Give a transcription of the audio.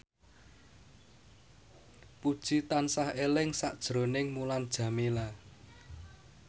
Puji tansah eling sakjroning Mulan Jameela